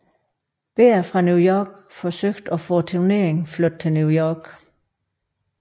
Behr fra New York forsøgt at få turneringen flyttet til New York